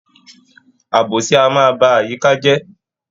Àbòsí a máa ba àyíká je